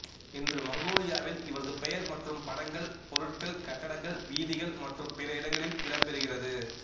இன்று மங்கோலியாவில் இவரது பெயர் மற்றும் படங்கள் பொருட்கள் கட்டடங்கள் வீதிகள் மற்றும் பிற இடங்களில் இடம்பெறுகிறது